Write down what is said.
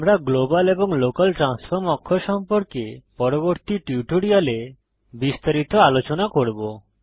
আমরা গ্লোবাল এবং local transform অক্ষ সম্পর্কে পরবর্তী টিউটোরিয়ালে বিস্তারিত আলোচনা করব